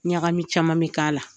Ɲagami caman bi k'a la.